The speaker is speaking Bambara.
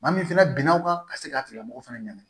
Maa min fɛnɛ binna o kan ka se k'a tigilamɔgɔ fana ɲɛ ɲini